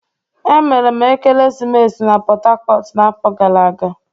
Emere m ekeresimesi na Port Harcourt n'afọ gara aga.